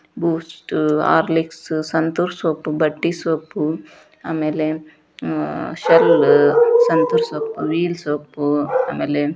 ಬೂಸ್ಟ್ Horlicks Santoor soap ಬಟ್ಟೆ soap ಆಮೇಲೆ ಶಲ್ ಸಂತೂರ್ ಸೋಪ್ ವೀಲ್ ಸೋಪ್ ಆಮೇಲೆ --